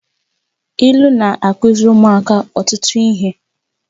Ilu na-akụziri ụmụaka ọtụtụ ihe